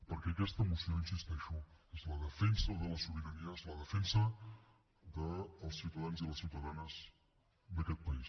perquè aquesta moció hi insisteixo és la defensa de la sobirania és la defensa dels ciutadans i les ciutadanes d’aquest país